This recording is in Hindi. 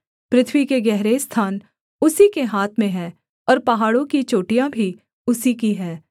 पृथ्वी के गहरे स्थान उसी के हाथ में हैं और पहाड़ों की चोटियाँ भी उसी की हैं